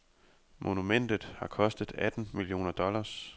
Monumentet har kostet atten millioner dollars.